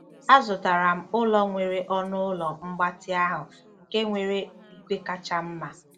Azụtara m ụlọ nwere ọnụ ụlọ mgbatị ahụ nke nwere igwe kacha mma.